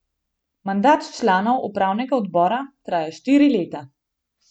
Mandat članov upravnega odbora traja štiri leta.